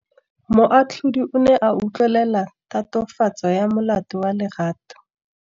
Moatlhodi o ne a utlwelela tatofatsô ya molato wa Lerato.